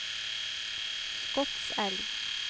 Skotselv